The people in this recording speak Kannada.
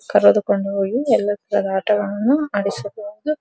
ಕರೆದುಕೊಂಡು ಹೋಗಿ ಎಲ್ಲ ತರದ ಆಟಗಳನ್ನು ಆಡಿಸಬಬಹುದು.